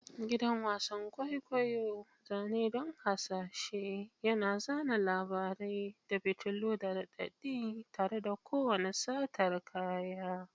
Gidan wasan kwaikwayo, zane don hasashe, yana zana labarai da fitilu da raɗaɗi tare da kowane satar kaya.